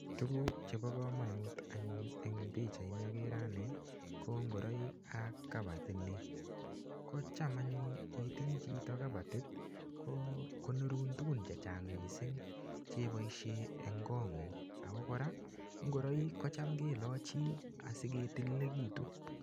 Tuguk chebo komonut anyun eng pichait ni akere ane, ko ngoroik ak kabatit ni. Kocham anyun itinye chito kabatit, ko konorun tugun chechang missing che iboisie eng kot ng'ung'. Ako ngora ngoroik, kecham kelachi asiketililekitu.